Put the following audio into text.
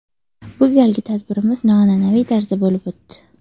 Bu galgi tadbirimiz noan’anaviy tarzda bo‘lib o‘tdi.